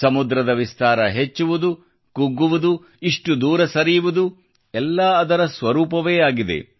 ಸಮುದ್ರದ ವಿಸ್ತಾರ ಹೆಚ್ಚುವುದು ಕುಗ್ಗುವುದು ಇಷ್ಟು ದೂರ ಸರಿಯುವುದು ಎಲ್ಲ ಅದರ ಸ್ವರೂಪವೇ ಆಗಿದೆ